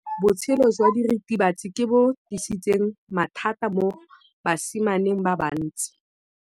Botshelo jwa diritibatsi ke bo tlisitse mathata mo basimaneng ba bantsi.